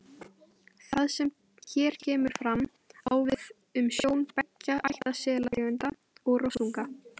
Það sem hér kemur fram, á við um sjón beggja ætta selategunda og rostunga.